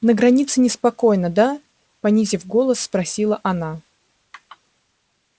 на границе неспокойно да понизив голос спросила она